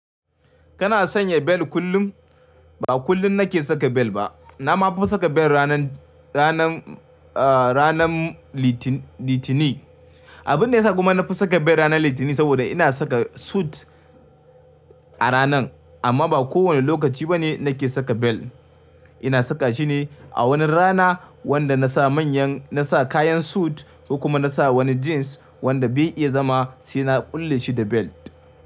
Kana sanya bel kullum? Ba kullum nake saka bel ba. Na ma fi saka bel ranan, ranan, ah ranan Litinin. Abun da ya sa kuma na fi saka bel ranan Litinin saboda ina saka sut a ranan. Amma ba kowane lokaci ba ne nake saka bel. Ina saka shi ne a wani rana wanda na sa manyan, na sa kayan sut ko kuma na sa wani jins wanda bai iya zama sai na ƙulle shi da bel.